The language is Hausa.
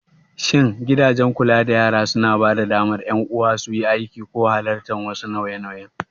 Shin gidajen kula da yara suna ba da damar ƴan uwa suyi aiki ko halartar wasu nauye-nauyen?